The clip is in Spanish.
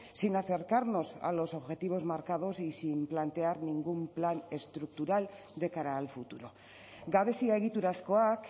sin acercarnos a los objetivos marcados y sin plantear ningún plan estructural de cara al futuro gabezia egiturazkoak